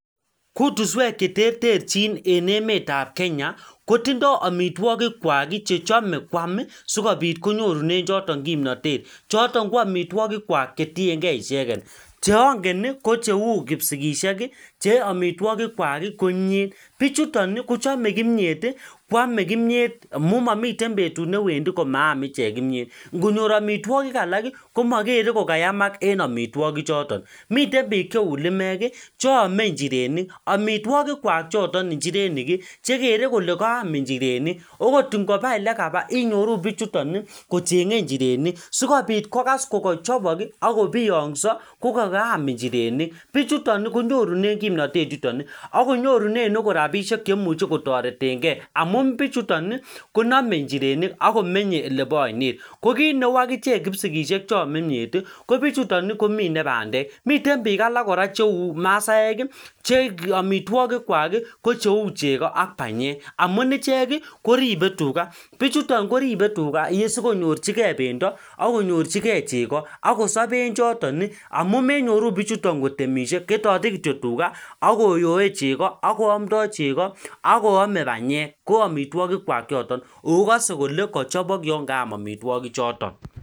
kutuswek cheterterchin en emet ab kenya kotindo amitwokik kwak ii chechome kwam ii koam sikopit konyorunen choton kimnotet choton koamitwokik kwak chetiengee icheket cheongen ko cheu kipsishek ii che omitwokik kwak ii ko imiet bichuton ii kochome kimiet ii ame kimiet ii amun momiten betut newendi komaam ichek kimiet ngonyor amitwokik alak ii komoger kokayam ichek en amitwoki choton miten biik cheu limek ii cheome nchirenik amitwokik kwak choton nchirenik chekere kole kaam nchireni okot ngopaa elekapa inyorun bichuton ii kochengee nchirenik sikopit kokas kokochopok ii akkopiongso kokukaam nchirenik bichutoni konyoruunen kimnatet yutoni ak konyoru nen agot rapishek chemuche kotoretengee amun bichuton ii konome nchirenik akomenye elepo oinet kokineu akichek kipsigishekcheome imiet kobichuton komine bandek miten biik alak cheu masaek ii che amitwokik kwak ko cheu chego ak banyek amun ichek ii koribe tuga bichuton koribe tuga sikonyorchikee bendo ak konyorchi kee chego ak kosopen choton ii amun menyoru bichuton iikotemishie ketote kityok tuga akoyoe chego akoamdo chego akoame bendo ko amitwokik kwak choton akokose kole kochopok yoon kaam amitwogik choton